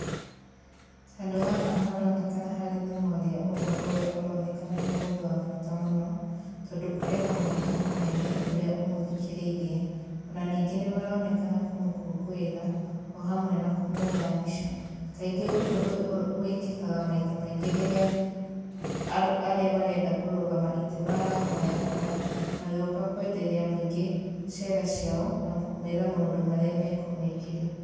Handũ haha haronekana harĩ na mwaria ũmwe ũrĩa ũronekana nĩ mũndũ wa bata mũno, tondũ kũrĩ na mũingĩ mũnene ũrĩa ũmũthikĩrĩirie,o na ningĩ nĩ maronekana kũmũkũngũĩra o hamwe na kũmwoya mbica. Kaingĩ ũndũ ũyũ wĩkĩkaga maita maingĩ rĩrĩa arĩa marenda kũrũgama itĩ marahoya kura magĩũka kwenderia mũingĩ cera ciao na kũmera maũndũ marĩa mekũmekĩra.